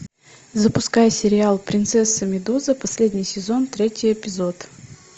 запускай сериал принцесса медуза последний сезон третий эпизод